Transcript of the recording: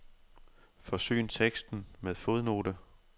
Forsyn teksten med fodnote.